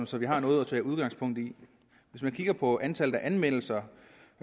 så vi har noget at tage udgangspunkt i hvis man kigger på antallet af anmeldelser